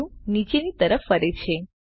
view નીચેની તરફ ફરે છે